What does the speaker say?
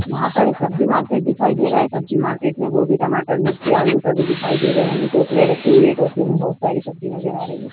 यहाँ पर एक सब्जी मार्केट दिखाई दे रहा है। सब्जी मार्केट में गोबी टमाटर मिर्ची आलू सभी दिखाई दे रहे है। टोकरिया रखी हुवी है। टोकरियो में बहोत सारी सब्जी नजर आ रही है।